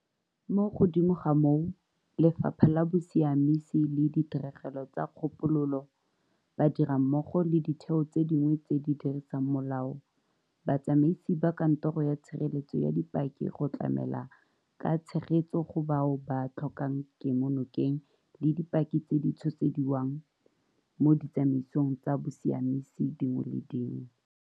Mo godimo ga moo, Lefapha la Bosiamisi le Ditirelo tsa Kgopololo, ba dirammogo le ditheo tse dingwe tse di dirisang molao, batsamaisi ba Kantoro ya Tshireletso ya Dipaki go tlamela ka tshegetso go bao ba tlhokang kemonokeng le dipaki tse di tshosediwang mo ditsamaisong tsa bosiamisi dingwe le dingwe.